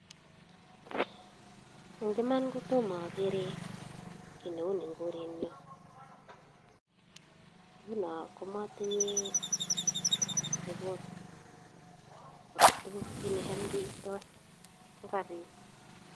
Eng iman kotomo agere kiy neuni eng korenyo. Nguno ko mainye ribot kole tos kiy necham keitoi kogabit.